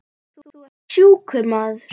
Þú ert sjúkur maður.